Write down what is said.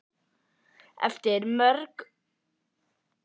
Eftir mörg vottorð eru rúðurnar loks afgreiddar sem kirkjugripir.